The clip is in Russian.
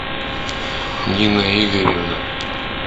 нина игоревна